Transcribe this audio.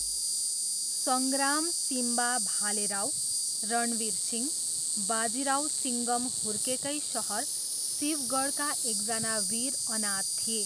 सङ्ग्राम सिम्बा भालेराव, रणवीर सिंह, बाजीराव सिङ्घम हुर्केकै सहर शिवगढका एकजना वीर अनाथ थिए।